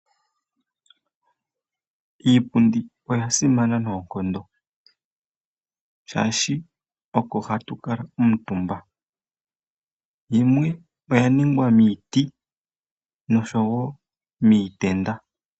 Iipundi oya simana noonkondo, shaashi oko hatu kala omutumba yimwe oya ningwa miiti noshowo miitenda.